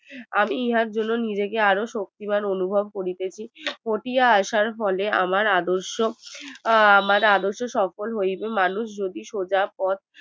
আমি ইহার জন্য আরো নিজেকে আরো শক্তিমান অনুভব করতেছি আমার আদর্শ আহ আমার আদর্শ সফল হইবে মানুষ যদি সোজা পথ